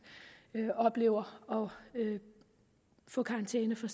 oplever at få karantæne fra